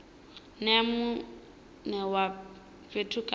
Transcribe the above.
nea mune wa fhethu kana